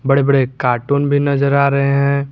बड़े बड़े कार्टून भी नजर आ रहे हैं।